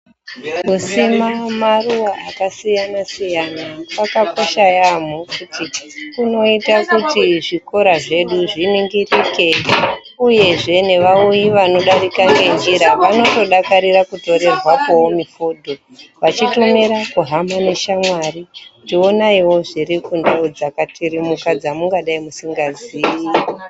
Kusima maruwa akasiyana siyana kwakakosha yambo kunoite kuti zvikora zvedu zviningirike uyezve nevauyi vanodarika ngenjira vanotodakarira kutorerwapowo mifodho vachitotumira kuhama neshamwari kuti honaiwo zviri kundau dzakatirimuka dzamungadai musingaziyi.